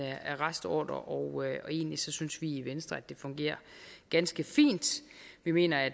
arrestordre og egentlig synes vi i venstre at det fungerer ganske fint vi mener at